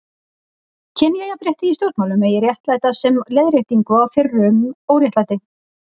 Kynjajafnrétti í stjórnmálum megi réttlæta sem leiðréttingu á fyrrum óréttlæti.